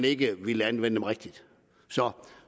ikke ville anvende dem rigtigt